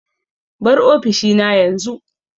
Bar ofishina yanzu!